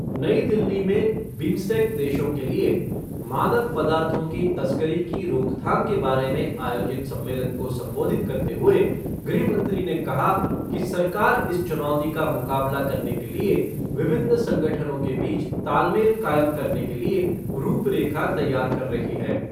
नई दिल्ली में बिम्सटेंक देशों के लिए मादक पदार्थों की तस्करी कर रोकथाम के बारे में आयोजित सम्मेलन को संबोधित करते हुए गृह मंत्री ने कहा कि सरकार इस चुनौती का मुकाबला करने के लिए विभिन्न संगठनों के बीच तालमेल कायम करने के लिए रूपरेखा तैयार कर रही है।